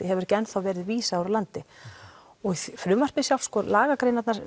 hefur ekki enn verið vísað úr landi og frumvarpið sjálft sko lagagreinarnar